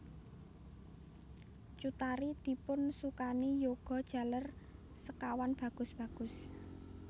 Cut Tari dipunsukani yuga jaler sekawan bagus bagus